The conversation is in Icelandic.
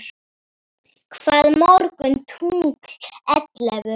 Hvað mörg tungl ellefu?